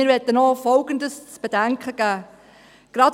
Wir möchten auch Folgendes zu bedenken geben: